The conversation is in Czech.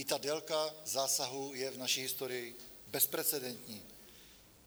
I ta délka zásahu je v naší historii bezprecedentní.